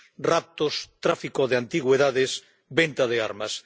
raptos, tráfico de antigüedades, venta de armas.